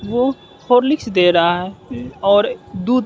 वो हार्लिक्स दे रहा है और दूध।